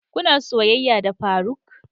Kuna soyayya da faruk?